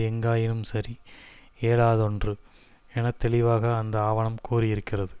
எங்காயினும் சரி இயலாததொன்று என தெளிவாக அந்த ஆவணம் கூறியிருக்கிறது